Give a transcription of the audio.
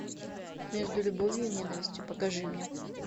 между любовью и ненавистью покажи мне